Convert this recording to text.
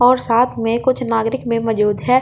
और साथ में कुछ नागरिक में मौजूद है।